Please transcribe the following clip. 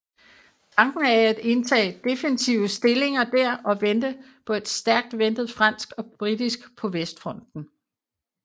Tanken af at indtage defensive stillinger der og vente på et stærkt ventet fransk og britisk på Vestfronten